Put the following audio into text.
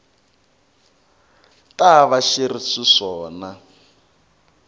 ta va swi ri xiswona